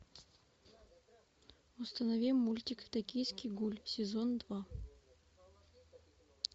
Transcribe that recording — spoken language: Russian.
установи мультик токийский гуль сезон два